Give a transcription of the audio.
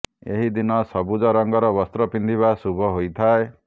ଏହି ଦିନ ସବୁଜ ରଙ୍ଗର ବସ୍ତ୍ର ପିନ୍ଧିବା ଶୁଭ ହୋଇଥାଏ